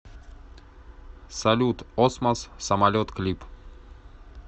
салют осмос самолет клип